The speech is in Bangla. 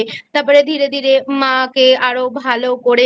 তারপরে ধীরে ধীরে মাকে আরো ভালো করে